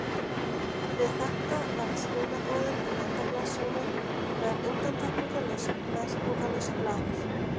Við þetta verða skilaboðin úr andaglasinu nær undantekningarlaust merkingarlaust blaður.